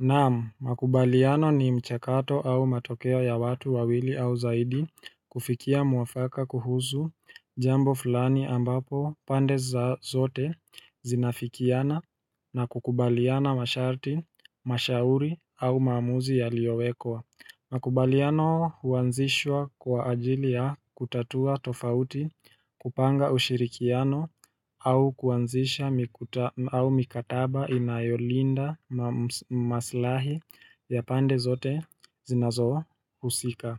Naam, makubaliano ni mchakato au matokeo ya watu wawili au zaidi kufikia mwafaka kuhusu jambo fulani ambapo pande zote zinafikiana na kukubaliana masharti, mashauri au maamuzi yaliowekwa. Makubaliano huanzishwa kwa ajili ya kutatua tofauti kupanga ushirikiano au kuanzisha mikataba inayolinda. Maslahi ya pande zote zinazohusika.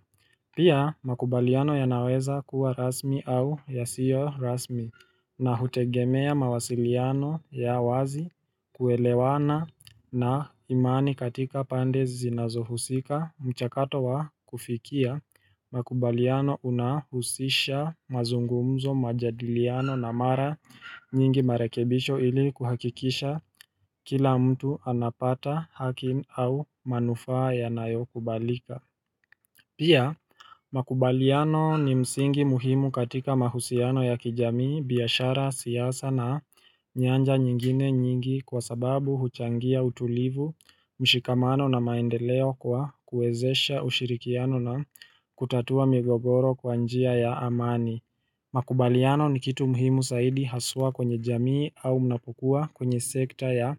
Pia makubaliano yanaweza kuwa rasmi au yasiyo rasmi na hutegemea mawasiliano ya wazi kuelewana na imani katika pande zinazohusika mchakato wa kufikia. Makubaliano unahusisha mazungumzo majadiliano na mara nyingi marekebisho ili kuhakikisha kila mtu anapata haki au manufaa yanayo kubalika. Pia, makubaliano ni msingi muhimu katika mahusiano ya kijamii, biashara, siasa na nyanja nyingine nyingi kwa sababu huchangia utulivu, mshikamano na maendeleo kwa kuwezesha ushirikiano na kutatua migogoro kwa njia ya amani. Makubaliano ni kitu muhimu zaidi haswa kwenye jamii au unapokua kwenye sekta ya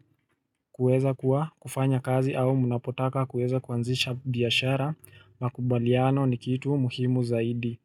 kuweza kuwa kufanya kazi au mnapotaka kuweza kuanzisha biashara, Makubaliano ni kitu muhimu zaidi.